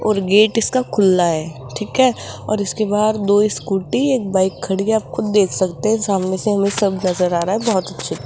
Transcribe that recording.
और गेट इसका खुला है ठीक है और इसके बाहर दो स्कूटी एक बाइक खड़ी है आप खुद देख सकते हैं सामने से हमें सब नजर आ रहा है बहोत अच्छे --